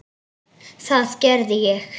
Það gerði ég.